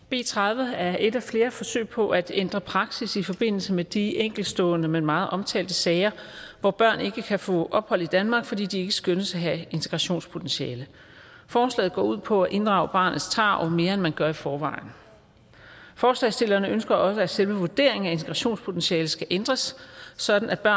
b tredive er et af flere forsøg på at ændre praksis i forbindelse med de enkeltstående men meget omtalte sager hvor børn ikke kan få ophold i danmark fordi de ikke skønnes at have integrationspotentiale forslaget går ud på at inddrage barnets tarv mere end man gør i forvejen forslagsstillerne ønsker også at selve vurderingen af integrationspotentialet skal ændres sådan at